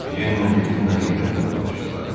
Jenlə Delfina heyrətlə baxışdılar.